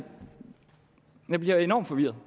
jeg bliver enormt forvirret